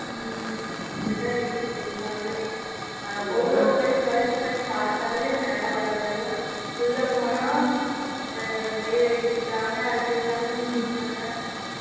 ஹம் அப்படித்தான் இருக்கு full ஆவே google search பண்ணி பாத்தாலே மேல வரது எல்லாம் உள்ள போனால் mail ID கேக்ககுறாங்க அது கேக்ககுறாங்க இது கேக்ககுறாங்க